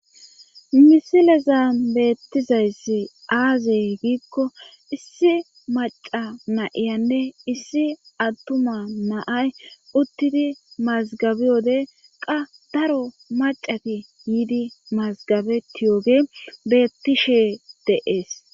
misilezan beettizayssi aaze giikko issi maca na7iyanne issi attuma naay uttidi mazgabi wode qa daro macati yiidi mazgabetiyooge beettishe de7ees